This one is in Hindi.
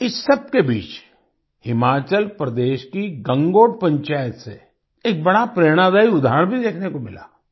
इस सबके बीच हिमाचल प्रदेश की गंगोट पंचायत से एक बड़ा प्रेरणादायी उदाहरण भी देखने को मिला